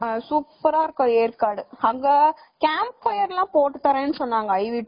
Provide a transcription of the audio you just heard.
சூப்பர்ரா இருக்கும் ஏற்காடு.அங்க camp fire எல்லாம் போட்டுதரேன்னு சொன்னாங்க iv trip